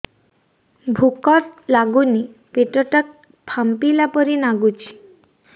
ଭୁକ ଲାଗୁନି ପେଟ ଟା ଫାମ୍ପିଲା ପରି ନାଗୁଚି